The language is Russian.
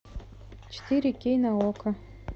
четыре кей на окко